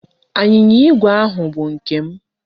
Anyịnya igwe ahụ bụ nke m.